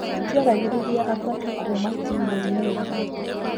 Tũtiaragĩrĩria athaki kuuma timũ inĩ ĩngĩ